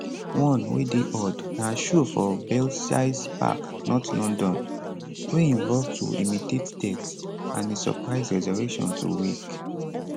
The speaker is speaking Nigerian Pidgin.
one wey dey odd na show for belsize park north london wey involve to imitate death and a surprise resurrection to wake